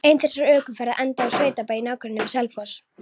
Ein þessara ökuferða endaði á sveitabæ í nágrenni við Selfoss.